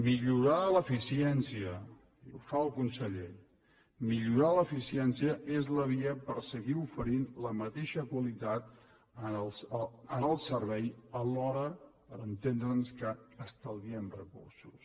millorar l’eficiència i ho fa el conseller millorar l’eficiència és la via per seguir oferint la mateixa qualitat en el servei alhora per entendre’ns que estalviem recursos